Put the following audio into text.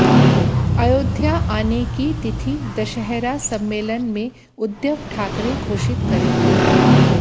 अयोध्या आने की तिथि दशहरा सम्मेलन में उद्धव ठाकरे घोषित करेंगे